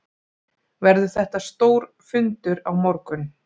Verður þetta stór fundur á morgun?